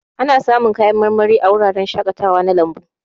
Ana samun kayan marmari a wuraren shakatawa na lambu.